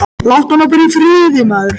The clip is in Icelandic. Láttu hana bara í friði, maður.